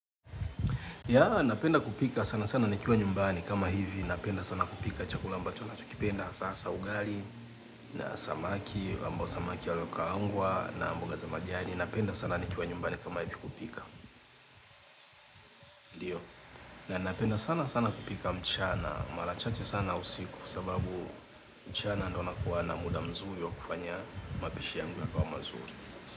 Ya napenda kupika sana sana nikiwa nyumbani kama hivi napenda sana kupika chakula ambacho na chokipenda sasa ugali na samaki ambao samaki walio kaangwa na mboga za majani napenda sana nikiwa nyumbani kama hivi kupika ndio na napenda sana sana kupika mchana marachache sana usiku sababu mchana ndio na kuwa na muda mzuri wa kufanya mapishi yangu ya kawa mazuri.